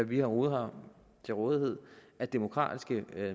vi overhovedet har til rådighed af demokratiske